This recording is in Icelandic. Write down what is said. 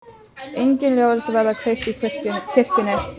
Engin ljós verða kveikt í kirkjunni.